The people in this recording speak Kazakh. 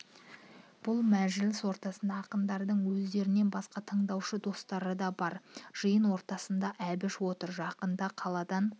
бұл мәжіліс ортасында ақындардың өздерінен басқа тындаушы достары да бар жиын ортасында әбіш опыр жақында қаладан